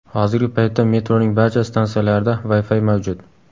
Hozirgi paytda metroning barcha stansiyalarida Wi-Fi mavjud.